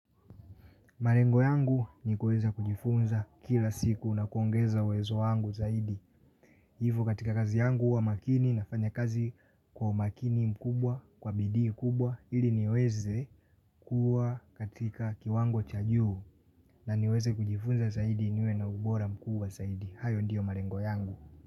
Malengo yangu ni kuweza kujifunza kila siku na kuongeza uwezo wangu zaidi. Hivo katika kazi yangu huwa makini nafanya kazi kwa makini mkubwa, kwa bidii kubwa ili niweze kuwa katika kiwango cha juu na niweze kujifunza zaidi niwe na ubora mkubwa zaidi. Hayo ndiyo malengo yangu.